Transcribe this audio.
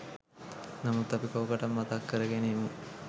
නමුත් අපි කෝකටත් මතක් කරගෙන ඉමු